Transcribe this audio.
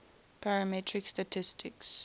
parametric statistics